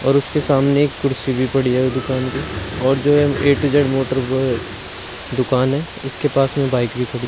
और उसके सामने एक कुर्सी भी पड़ी है उस दुकान के और जो है ए टू जेड मोटर ब दुकान है। इसके पास में बाइक भी खड़ी --